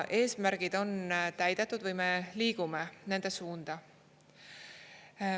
Eesmärgid on täidetud või me liigume nende suunda.